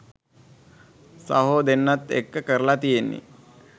සහෝ දෙන්නත් එක්ක කරල තියෙන්නෙ.